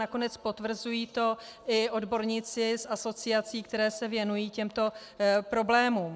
Nakonec potvrzují to i odborníci z asociací, které se věnují těmto problémům.